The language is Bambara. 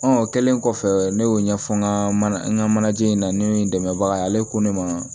o kɛlen kɔfɛ ne y'o ɲɛfɔ n ka mana n ka manajan in na ni dɛmɛbaga ye ale ko ne ma